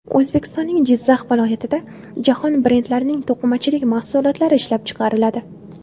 O‘zbekistonning Jizzax viloyatida jahon brendlarining to‘qimachilik mahsulotlari ishlab chiqariladi!